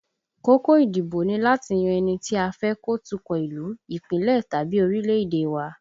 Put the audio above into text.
Kókó ìdìbò ni láti yan ẹni tí a fẹ́ kó tukọ̀ ìlú, Ìpínlẹ̀ tàbí orílẹ̀èdè wa